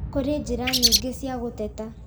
Kũrĩ njĩra nyingĩ cia gũteta